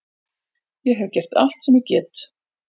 Ég hef gert allt sem ég get.